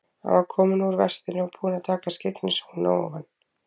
Hann var kominn úr vestinu og búinn að taka skyggnishúfuna ofan.